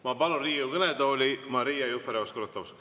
Ma palun Riigikogu kõnetooli Maria Jufereva-Skuratovski.